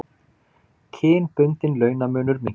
Kynbundinn launamunur minnkar